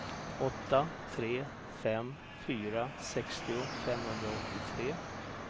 åtta tre fem fyra sextio femhundraåttiotre